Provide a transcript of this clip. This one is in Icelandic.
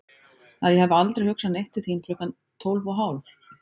Að ég hafi aldrei hugsað neitt til þín klukkan tólf og hálf?